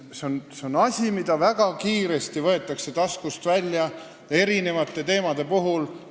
See on asi, mis väga kiiresti võetakse eri teemade arutelul taskust välja.